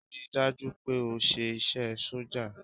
Rí i dájú o pé o ṣe iṣẹ́ sójà!